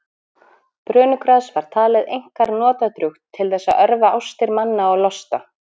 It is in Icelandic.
Brönugras var talið einkar notadrjúgt til þess að örva ástir manna og losta.